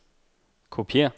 kopiér